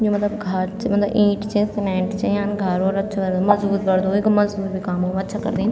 यु मलब घर च मलब इंट च सीमेंट च याम घार उर अच्छु लगद मजबूत बणदु वेका मजदूर भी काम अच्छा करदिन।